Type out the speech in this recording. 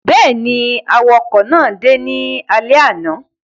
Bẹ́ẹ̀ ni, àwakọ̀ náà dé ní alẹ́ àná.